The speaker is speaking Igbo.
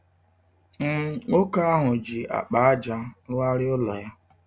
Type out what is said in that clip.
um Nwoke ahụ ji akpa ájá rụgharịa ụlọ ya.